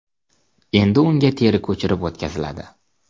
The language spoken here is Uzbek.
Endi unga teri ko‘chirib o‘tkaziladi.